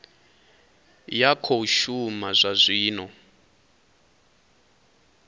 ya khou shuma zwa zwino